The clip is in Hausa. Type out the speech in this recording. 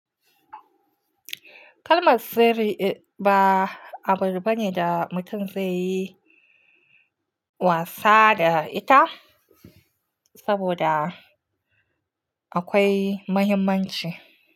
Kalmar sirri ba abun bane da mutum zai yi wasa da ita, saboda akwai muhimmanci.